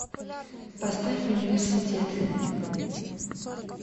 поставь университет